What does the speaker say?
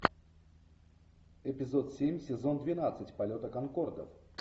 эпизод семь сезон двенадцать полета конкордов